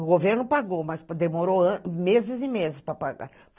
O governo pagou, mas demorou meses e meses para pagar.